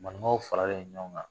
Manikaw faralen ɲɔgɔn kan.